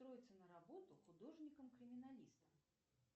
устроиться на работу художником криминалистом